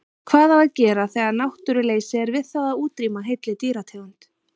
Hvað á að gera þegar náttúruleysi er við það að útrýma heilli dýrategund?